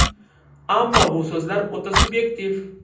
Ammo bu so‘zlar o‘ta subyektiv.